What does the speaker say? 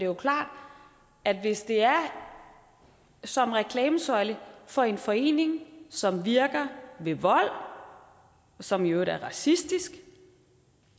jo klart at hvis det er som reklamesøjle for en forening som virker ved vold og som i øvrigt er racistisk